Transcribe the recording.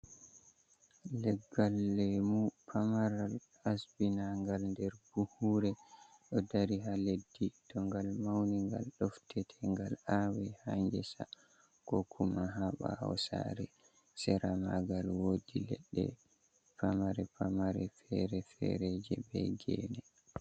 Leggal leemu pamaral, asbinaangal nder buhuure ɗo dari, haa leddi. To ngal mawni, ngal doftete, ngal aawe haa ngesa, ko kuma haa ɓaawo saare. Sera maagal woodi leɗɗe pamare pamare, fere-fereje, be geene.